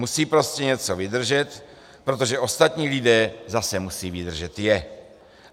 Musí prostě něco vydržet, protože ostatní lidé zase musí vydržet je.